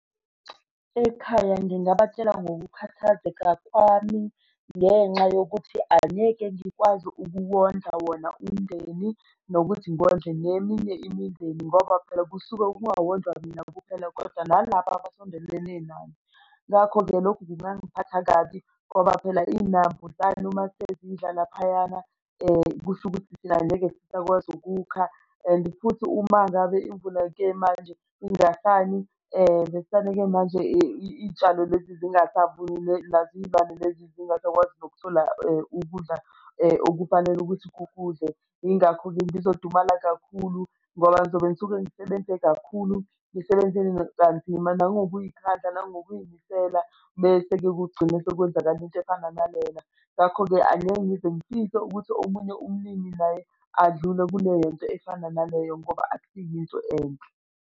Ekhaya, ngingabatshela ngokukhathazeka kwami ngenxa yokuthi angeke ngikwazi ukuwondla wona umndeni nokuthi ngondle neminye imindeni ngoba phela kusuke kungawondlwa imina kuphela kodwa nalaba abasondelene nani. Ngakho-ke lokho kungangiphatha kabi ngoba phela iy'nambuzane uma sezidlala laphayana kusho ukuthi thina angeke sisakwazi ukukha and futhi uma ngabe imvula-ke manje ingasani ivesane-ke manje iy'tshalo lezi zingasavuni nazo iy'lwane lezi zingasakwazi nokuthola ukudla okufanele ukuthi kukudle. Yingakho-ke ngizodumala kakhulu ngoba ngizobe ngisuke ngisebenze kakhulu ngisebenza kanzima, nangokuy'khandla nangokuy'misela, bese-ke kugcine sekwenzakala into efana nalela. Ngakho-ke angeke ngize ngifise ukuthi omunye umlimi naye adlule kule nto efana naleyo ngoba akusiyo into enhle.